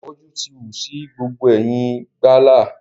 Ìfòjú ti wù sí gbogbo ẹ̀yìn gbàlá.